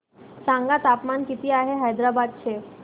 सांगा तापमान किती आहे हैदराबाद चे